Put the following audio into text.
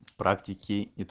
практики и